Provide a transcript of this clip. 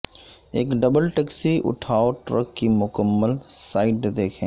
ایک double taxi اٹھاو truck کی مکمل سائڈ دیکھیں